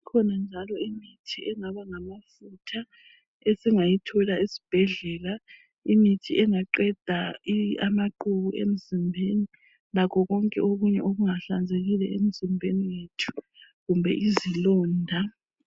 Kukhona njalo imithi engaba ngamafutha esingayithola esibhedlela imithi engaqeda amaqhubu emzimbeni lakho konke okunye okungahlanzekile emzimbeni yethu kumbe izilonda.